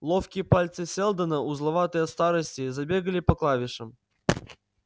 ловкие пальцы сэлдона узловатые от старости забегали по клавишам